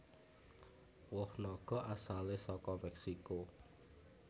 Woh naga asalé saka Mèksiko